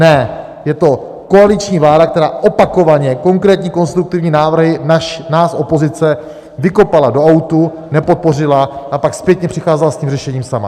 Ne, je to koaliční vláda, která opakovaně konkrétní konstruktivní návrhy nás, opozice, vykopala do autu, nepodpořila a pak zpětně přicházela s tím řešením sama.